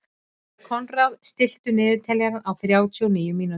Konráð, stilltu niðurteljara á þrjátíu og níu mínútur.